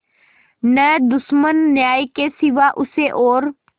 न दुश्मन न्याय के सिवा उसे और